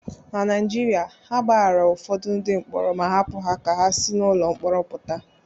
Na Naijiria, a gbaghaara ụfọdụ ndị mkpọrọ ma hapụ ha ka ha si n'ụlọ mkpọrọ pụta